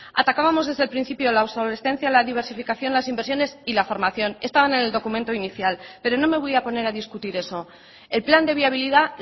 atacábamos desde el principio la obsolescencia la diversificación las inversiones y la formación estaban en el documento inicial pero no me voy a poner a discutir eso el plan de viabilidad